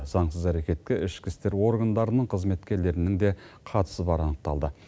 заңсыз әрекетке ішкі істер органдарының қызметкерлерінің де қатысы бары анықталды